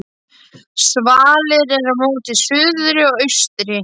Svalir eru móti suðri og austri.